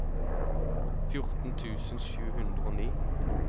fjorten tusen sju hundre og ni